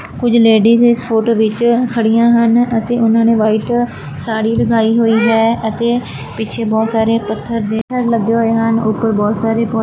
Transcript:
ਕੁਝ ਲੇਡੀਜ਼ ਇਸ ਫ਼ੋਟੋ ਵਿੱਚ ਖੜੀਆਂ ਹਨ ਅਤੇ ਓਹਨਾਂ ਨੇ ਵਾਈਟ ਸਾੜੀ ਲਗਾਈ ਹੋਈ ਹੈ ਅਤੇ ਪਿੱਛੇ ਬਹੁਤ ਸਾਰੇ ਪੱਥਰ ਦੇ ਲੱਗੇ ਹੋਏ ਹਨ ਉੱਪਰ ਬਹੁਤ ਸਾਰੇ ਪੌ --